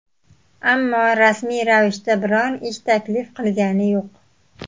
Ammo rasmiy ravishda biron ish taklif qilgani yo‘q.